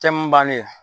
Tɛmu bannen ye